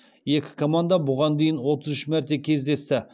екі команда бұған дейін отыз үш мәрте кездесті